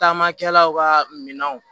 Taamakɛlaw kaa minɛnw